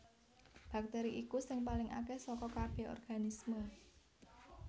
Baktèri iku sing paling akèh saka kabèh organisme